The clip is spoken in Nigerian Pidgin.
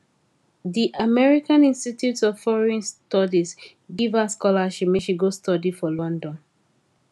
di american institute of foreign studies give her scholarship make she go study for london